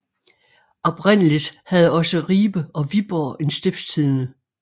Oprindeligt havde også Ribe og Viborg en Stiftstidende